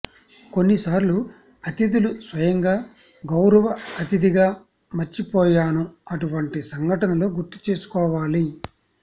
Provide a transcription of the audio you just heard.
కొన్నిసార్లు అతిథులు స్వయంగా గౌరవ అతిథిగా మర్చిపోయాను అటువంటి సంఘటనలు గుర్తుంచుకోవాలి